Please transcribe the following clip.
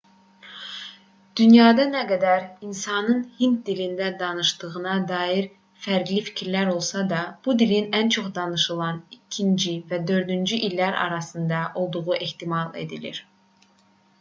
dünyada nə qədər insanın hind dilində danışdığına dair fərqli fikirlər olsa da bu dilin ən çox danışılan 2-ci və 4-cü dillər arasında olduğu ehtimal edilir